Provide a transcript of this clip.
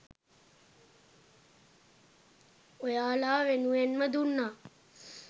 ඔයාලා වෙනුවෙන්ම දුන්නා.